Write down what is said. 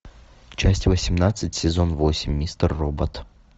часть восемнадцать сезон восемь мистер робот